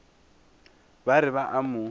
ba re ba a mo